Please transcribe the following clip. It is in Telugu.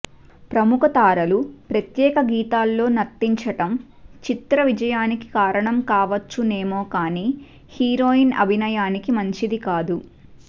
ప్రముఖ తారలు ప్రత్యేక గీతాల్లో నర్తించడం చిత్ర విజయానికి కారణం కావచ్చునేమో కానీ హీరోయిన్ అభినయానికి మంచిది కాదు